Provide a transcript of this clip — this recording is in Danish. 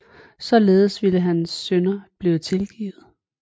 Således ville hans synder blive tilgivet